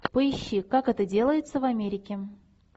поищи как это делается в америке